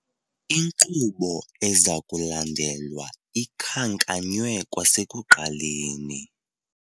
Inkqubo eza kulandelwa ikhankanywe kwasekuqaleni.